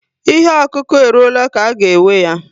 Ihe okuku eruola ka a ga-ewe ya